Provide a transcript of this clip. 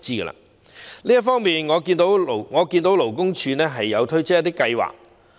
就這方面，我留意到勞工處推出一些計劃。